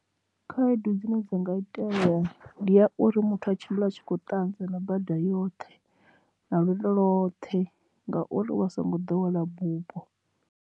Khaedu dzine dza nga itea ndi ya uri muthu a tshimbile a tshi kho ṱanza na bada yoṱhe na lwendo lothe ngauri u vha a songo ḓowela bupo.